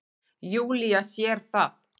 Júlía sér það.